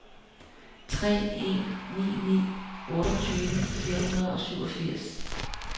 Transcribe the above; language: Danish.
tre en ni ni otteogtyve fire hundrede og syvogfirs